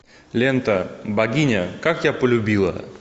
лента богиня как я полюбила